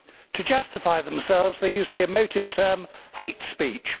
To justify themselves, they use the emotive term hate speech'.